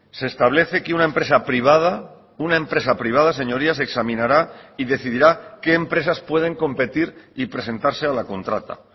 se establece que una empresa privada una empresa privada señorías examinará y decidirá qué empresas pueden competir y presentarse a la contrata